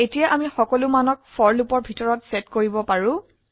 এতিয়া আমি সকলো মানক ফৰ লুপৰ ভিতৰত সেট কৰিব পাৰো